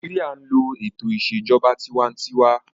Nàìjíríyà n lo ètò ìṣèjọba tinwatinwa